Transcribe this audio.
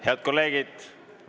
Head kolleegid!